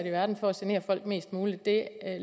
i verden for at genere folk mest muligt det